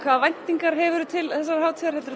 hvaða væntingar hefur þú til hátíðarinnar